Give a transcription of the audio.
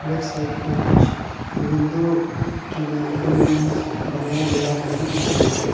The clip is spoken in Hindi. लेफ्ट साइड पे कुछ विंडो के लिए एल्यूमिनियम बनाया गया है ये भी दिख रहा है।